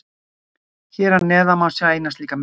Hér að neðan má sjá eina slíka mynd.